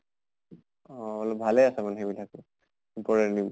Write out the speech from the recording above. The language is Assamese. অহ অলপ ভালে আছে মানে সেইবিলাকত important